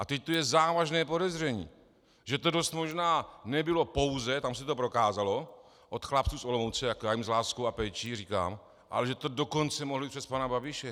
A teď tu je závažné podezření, že to dost možná nebylo pouze - tam se to prokázalo - od chlapců z Olomouce, jak já jim s láskou a péčí říkám, ale že to dokonce mohli přes pana Babiše.